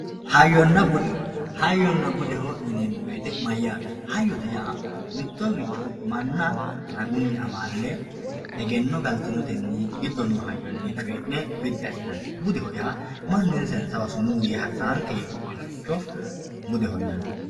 Hayyona bude hayyona bude yinemo woyite mayaate hayyote yaa mitoricho mana raguni amaale egeno galtinoteni giddo noo hayyoni coyine bidi asinanite budeho yaa manu insa insanewa sumuu yee harisawonke yee wodhinoricho budeho yinani.